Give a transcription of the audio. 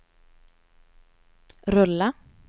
rulla